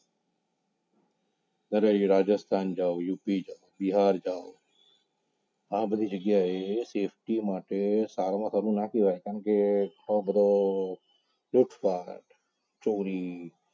ત્યારે રાજસ્થાન જાવ UP જાવ બિહાર જાઓ આજ બધી જગ્યાએ safety માટે સારામાં સારું ના કહેવાય કારણ કે આ બધા ચોરી